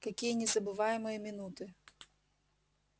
какие незабываемые минуты